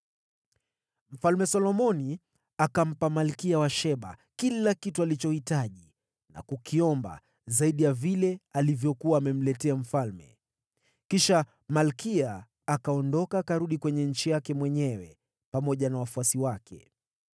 Mfalme Solomoni akampa Malkia wa Sheba kila kitu alichotamani na kukiomba, zaidi ya vile alivyokuwa amemletea mfalme. Kisha malkia akaondoka na kurudi katika nchi yake, yeye na watumishi wake.